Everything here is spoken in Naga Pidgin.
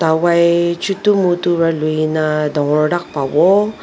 dawai chutu mutu para lui ne dagor tak pawo.